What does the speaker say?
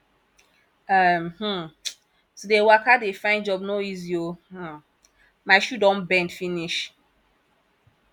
um um to dey waka dey find job no easy o um my shoe don bend finish